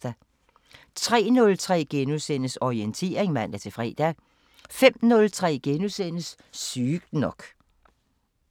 03:03: Orientering *(man-fre) 05:03: Sygt nok *